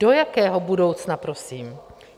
Do jakého budoucna prosím?